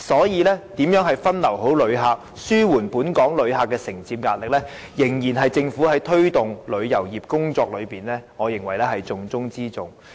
因此，如何分流旅客，以紓緩本港承接旅客的壓力，我認為仍然是政府在推動旅遊業工作中的重中之重。